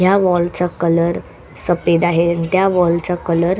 ह्या वॉल चा कलर सफेद आहे आणि त्या वॉल चा कलर --